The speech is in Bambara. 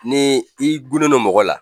Ni n'i gunnen no mɔgɔ la